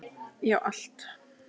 Já, allt!